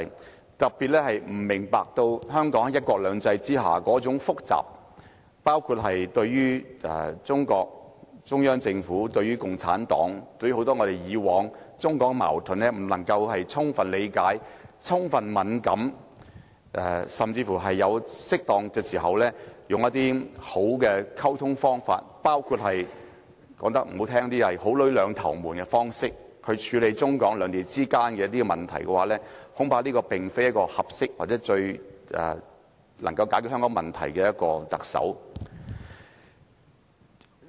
特別是，如果這個特首不明白香港在"一國兩制"下那種複雜情況，包括對於中國、中央政府的複雜情況；如果他不能夠充分理解共產黨及很多中港矛盾，對此敏感度不足，甚至不能在適當時候，用一些良好的溝通方法去處理中港兩地之間的一些問題——說難聽點，這包括"好女兩頭瞞"的方式——恐怕這個特首並非一位合適或最能夠為香港解決問題的人選。